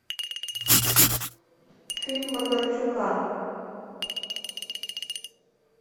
фильм бондарчука